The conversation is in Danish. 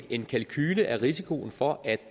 en kalkule af risikoen for at